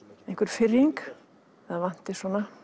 einhver firring það vanti